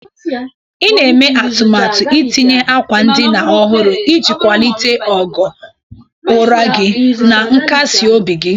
I na-eme atụmatụ itinye akwa ndina ọhụrụ iji kwalite ogo ụra gị na nkasi obi gị.